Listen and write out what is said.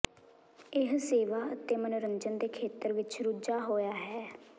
ਇਹ ਸੇਵਾ ਅਤੇ ਮਨੋਰੰਜਨ ਦੇ ਖੇਤਰ ਵਿਚ ਰੁੱਝਾ ਹੋਇਆ ਹੈ